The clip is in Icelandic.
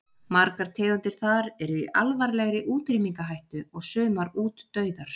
Margar tegundir þar eru í alvarlegri útrýmingarhættu og sumar útdauðar.